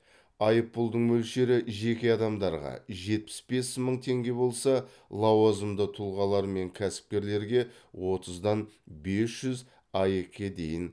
айыппұлдың мөлшері жеке адамдарға жетпіс бес мың теңге болса лауазымды тұлғалар мен кәсіпкерлерге отыздан бес жүз аек ке дейін